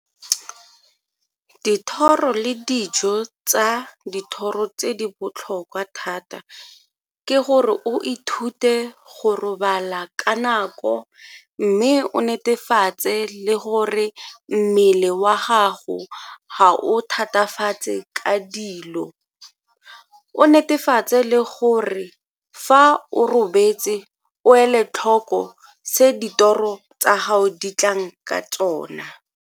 Dithoro le dijo tsa dithoro tse di botlhokwa thata ke gore o ithute go robala ka nako mme o netefatse le gore mmele wa gago ga o thatafale ka dilo, o netefatse le gore fa o robetse o ele tlhoko se ditoro tsa gao di tlang ka tsona.